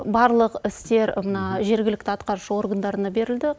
барлық істер мына жергілікті атқарушы органдарына берілді